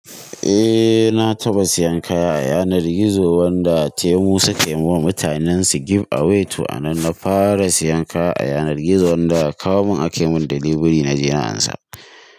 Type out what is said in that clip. Eh na taɓa siyan kaya a yanar gizo wanda teemu suka yiwa mutanen su give away. To a nan na fara siyan kaya a yanar gizo wanda aka kawo mun ake mun delivery naje na ansa.